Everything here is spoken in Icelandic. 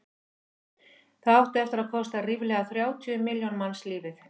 það átti eftir að kosta ríflega þrjátíu milljón manns lífið